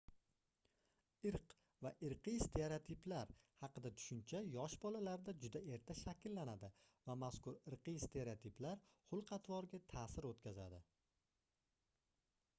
irq va irqiy stereotiplar haqida tushuncha yosh bolalarda juda erta shakllanadi va mazkur irqiy stereotiplar xulq-atvorga taʼsir oʻtkazadi